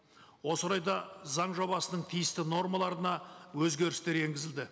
осы орайда заң жобасының тиісті нормаларына өзгерістер енгізілді